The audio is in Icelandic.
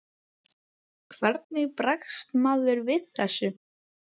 Hvernig bregst maður við þessu?